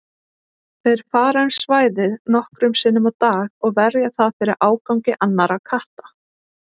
Þeir fara um svæðið nokkrum sinnum á dag og verja það fyrir ágangi annarra katta.